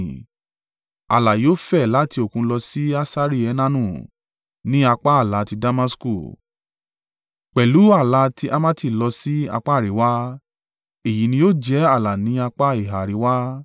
Ààlà yóò fẹ̀ láti Òkun lọ sí Hasari Enanu, ní apá ààlà ti Damasku, pẹ̀lú ààlà tí Hamati lọ sí apá àríwá. Èyí ni yóò jẹ́ ààlà ní apá ìhà àríwá.